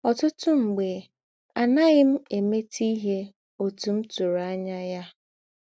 Ọ̀tụ̀tụ̀ mḡbè, à nàghị m èmètè ìhè òtú m tūrù ànyá yà.